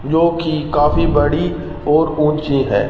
जोकि काफी बड़ी और ऊंची है।